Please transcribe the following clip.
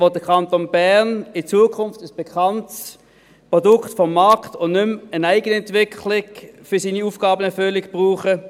Damit will der Kanton Bern in Zukunft ein bekanntes Produkt des Marktes und nicht mehr eine Eigenentwicklung für seine Aufgabenentwicklung verwenden.